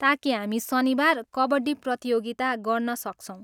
ताकि हामी शनिबार कबड्डी प्रतियोगिता गर्न सक्छौँ।